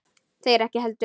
Þeir ekki heldur.